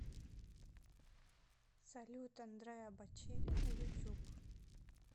салют андреа бочелли на ютуб